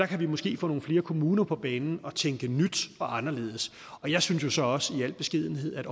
kan måske få nogle flere kommuner på banen til at tænke nyt og anderledes jeg synes jo så også i al beskedenhed at